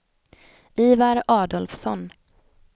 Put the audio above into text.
Ivar Adolfsson